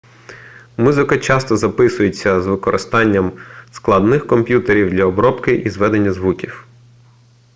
музика часто записується з використанням складних комп'ютерів для обробки і зведення звуків